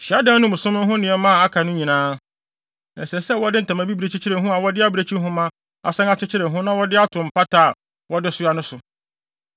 “Hyiadan no mu som no ho nneɛma a aka no nyinaa, ɛsɛ sɛ wɔde ntama bibiri kyekyere ho a wɔde abirekyi nhoma asan akyekyere ho na wɔde ato mpata a wɔde soa no so.